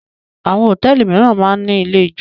Àwọn hòtẹ́ẹ́lì mìíràn máà ń ní ilé-ijó.